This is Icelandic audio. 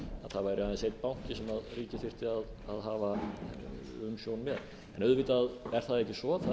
þyrfti að hafa umsjón með auðvitað er það ekki svo fyrir utan landsbankann